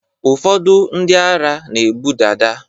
ụfọdụ ndị ara na-ebu dada